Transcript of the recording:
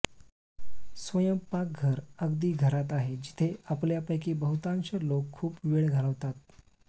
स्वयंपाकघर अगदी घरात आहे जिथे आपल्यापैकी बहुतांश लोक खूप वेळ घालवतात